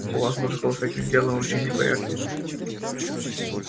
у вас мужиков с этим делом вообще не в порядке